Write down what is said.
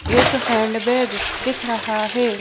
एक हैंडबैग दिख रहा है।